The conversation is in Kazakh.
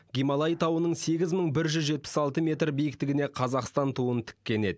гималай тауының сегіз мың бір жүз жетпіс алты метр биіктігіне қазақстан туын тіккен еді